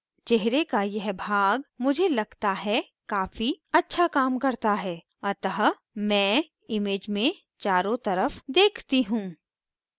चेहरे का यह भाग मुझे लगताहै काफ़ी अच्छा काम करता है अतः मैं image में चारों तरफ देखती हूँ